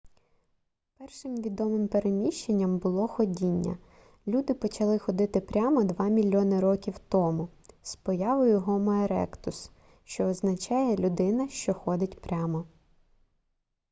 першим відомим переміщенням було ходіння люди почали ходити прямо два мільйони років тому з появою гомо еректус що означає людина що ходить прямо